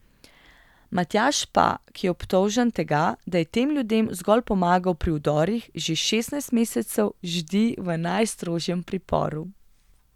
Matjaž pa, ki je obtožen tega, da je tem ljudem zgolj pomagal pri vdorih, že šestnajst mesecev ždi v najstrožjem priporu.